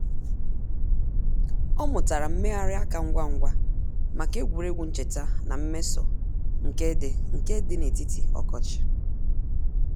Ọ mụtara mmegharị aka ngwa ngwa maka egwuregwu ncheta na mmeso nke di nke di n'etiti ọkọchị.